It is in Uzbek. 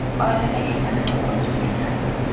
Oilada yagona boquvchi menman.